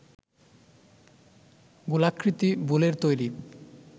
গোলাকৃতি বোলের তৈরী